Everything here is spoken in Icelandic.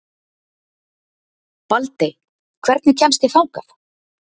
Baldey, hvernig kemst ég þangað?